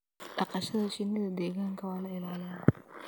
dhaqashada shinnida deegaanka waa la ilaaliyaa